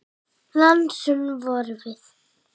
Lánsöm vorum við.